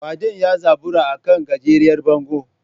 Kwadin ya zabura a kan gajeriyar bango.